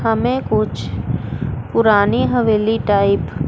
हमें कुछ पुरानी हवेली टाइप --